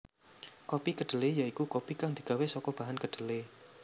Kopi kedhelé ya iku kopi kang digawé saka bahan kedhelé